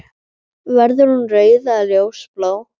Verður hún rauð eða ljósblá?